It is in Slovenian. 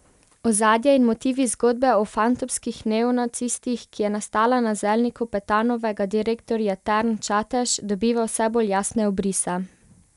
Ozadje in motivi zgodbe o fantomskih neonacistih, ki je nastala na zelniku Petanovega direktorja Term Čatež, dobiva vse bolj jasne obrise.